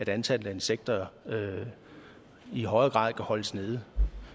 antallet af insekter i højere grad kan holdes nede